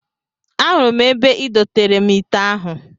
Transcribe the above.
Ahụrụ m ebe I doteere m ite ahụ